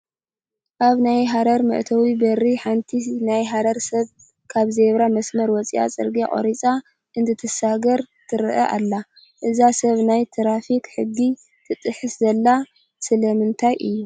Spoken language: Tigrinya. ኣብ ናይ ሃረር መእተዊ በሪ ሓንቲ ናይ ሃረሪ ሰብ ካብ ዜብራ መስመር ወፃኢ ፅርጊያ ቆሪፃ እንትትሰግር ትርአ ኣላ፡፡ እዛ ሰብ ናይ ትራፊክ ሕጊ ትጥሕስ ዘላ ስለምንታይ እዩ?